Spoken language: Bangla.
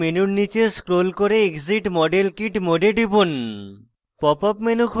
model kit মেনুতে নীচে scroll করে exit model kit mode এ টিপুন